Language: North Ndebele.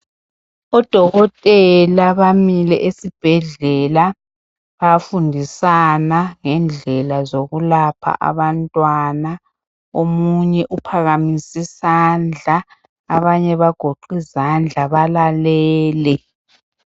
Odokotela bamile esibhedlela, bayafundisana ngendlela zokulapha abantwana. Omunye uphakamisisandla, abanye bagoqe izandla balalele.